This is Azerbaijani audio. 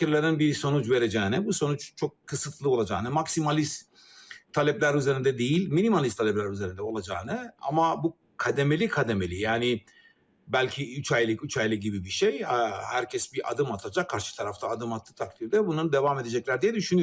Müzakirələrdən bir nəticə verəcəyini, bu nəticə çox qısıtlı olacağını, maksimalist tələblər üzərində deyil, minimalist tələblər üzərində olacağını, amma bu qədəməli-qədəməli, yəni bəlkə üç aylıq, üç aylıq kimi bir şey, hər kəs bir adım atacaq, qarşı tərəf də adım atdığı təqdirdə bunun davam edəcəklər deyə düşünürəm.